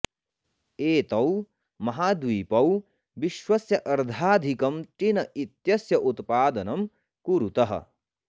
एतौ महाद्वीपौ विश्वस्य अर्धाधिकं टिन इत्यस्य उत्पादनं कुरुतः